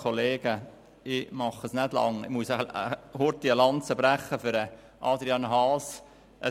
Ich muss kurz eine Lanze für Adrian Haas brechen.